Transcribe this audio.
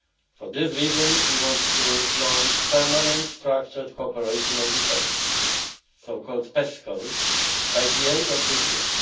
For this reason, we want to launch Permanent Structured Cooperation on Defence, the so called PESCO, by the end of this